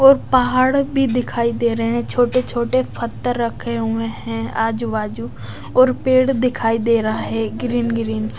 और पहाड़ भी दिखाई दे रहे है छोटे छोटे फत्थर रखे हुए है आजू बाजू और पेड़ दिखाई दे रहा है ग्रीन ग्रीन --